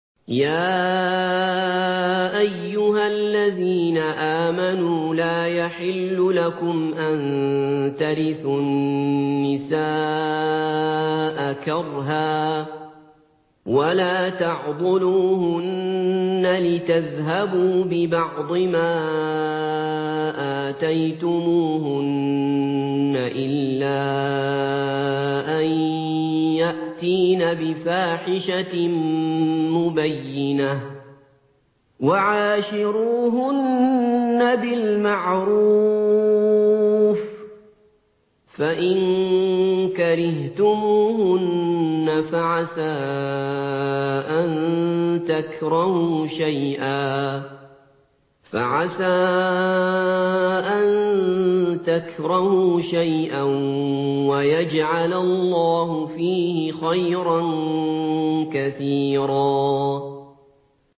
يَا أَيُّهَا الَّذِينَ آمَنُوا لَا يَحِلُّ لَكُمْ أَن تَرِثُوا النِّسَاءَ كَرْهًا ۖ وَلَا تَعْضُلُوهُنَّ لِتَذْهَبُوا بِبَعْضِ مَا آتَيْتُمُوهُنَّ إِلَّا أَن يَأْتِينَ بِفَاحِشَةٍ مُّبَيِّنَةٍ ۚ وَعَاشِرُوهُنَّ بِالْمَعْرُوفِ ۚ فَإِن كَرِهْتُمُوهُنَّ فَعَسَىٰ أَن تَكْرَهُوا شَيْئًا وَيَجْعَلَ اللَّهُ فِيهِ خَيْرًا كَثِيرًا